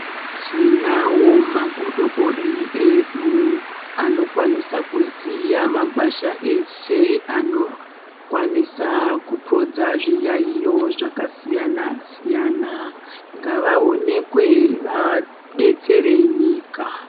Tinawo magodobori edu anokwanisa kuziya magwasha ese anokwanisa kupodza zviyayo zvakasiyana siyana ngavaonekwe vadetsere nyika.